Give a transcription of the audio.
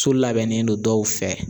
So labɛnnen don dɔw fɛ